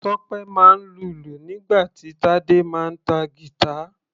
Tope máa ń lùlù nígbà tí Tade máa ń ta guitar.